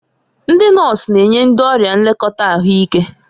Ndị nọọsụ na-enye ndị ọrịa nlekọta ahụike.